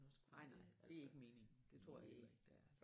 Nej nej det er ikke meningen det tror jeg heller ikke det er